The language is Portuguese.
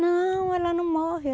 Não, ela não morreu.